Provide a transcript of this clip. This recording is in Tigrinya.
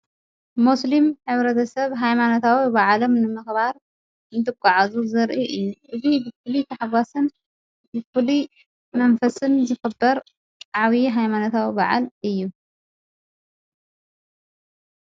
ሙስሊም ህብረተሰብ ኃይማነታዊ ብዓሎም ንምኽባር እንትጉዓዙ ዘርኢ እዩ እብ ብፍል ተሕዋስን ብዂል መንፈስን ዘኽበር ዓውዪ ኃይማነታዊ በዓል እዩ፡፡